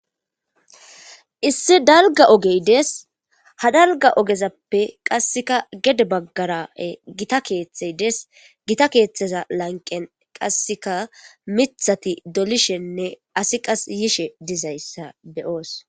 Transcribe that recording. Issi dalga ogey des ha dalga ogezappe qasseka gede baggarae gita keeththey des gita keeththeza lanqen qasseka mithati dolishenne asi qas yishe dizayssa beyoos.